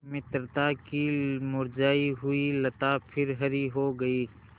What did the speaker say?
मित्रता की मुरझायी हुई लता फिर हरी हो गयी